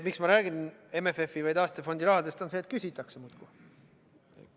Miks ma räägin MFF-i või taastefondi rahadest, on see, et küsitakse muudkui.